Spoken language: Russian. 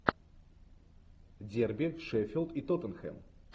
дерби шеффилд и тоттенхэм